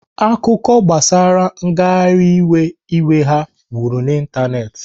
Akụkọ gbasara nghariwe iwe ha wuru n'Ịntanetị.